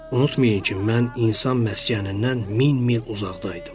Unutmayın ki, mən insan məskənindən min mil uzaqda idim.